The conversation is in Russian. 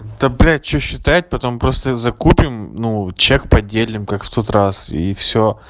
да блять что считать потом просто закупим ну чек поделим как в тот раз и всё